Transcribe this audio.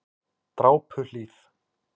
Drápuhlíð